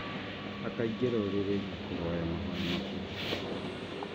Akaingĩra ũrĩrĩ na kũhoya mahoya makuhĩ